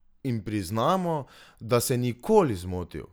In priznamo, da se ni nikoli zmotil!